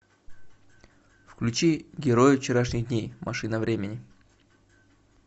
включи герои вчерашних дней машина времени